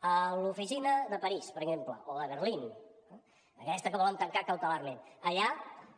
a l’oficina de parís per exemple o de berlín aquesta que volen tancar cautelarment allà